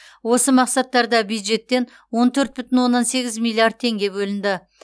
осы мақсаттарда бюджеттен он төрт бүтін оннан сегіз миллиард теңге бөлінді